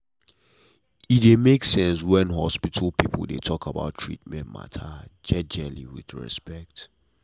e dey make sense when hospital people talk about treatment matter jejely with respect.